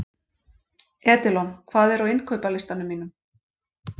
Edilon, hvað er á innkaupalistanum mínum?